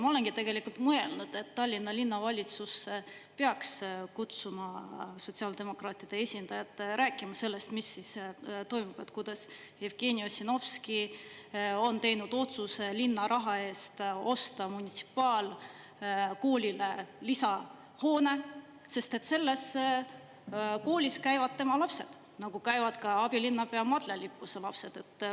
Ma olengi mõelnud, et Tallinna Linnavalitsus peaks kutsuma sotsiaaldemokraatide esindaja rääkima sellest, mis siis toimub, kuidas Jevgeni Ossinovski on teinud otsuse linna raha eest osta munitsipaalkoolile lisahoone, sest selles koolis käivad tema lapsed, nagu käivad ka abilinnapea Madle Lippuse lapsed.